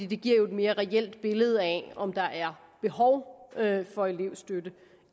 det giver jo et mere reelt billede af om der er behov for elevstøtte